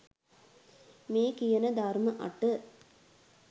මේ කියන ධර්ම අට